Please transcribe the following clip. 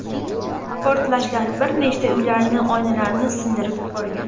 Portlashlar bir necha uylarning oynalarini sindirib yuborgan.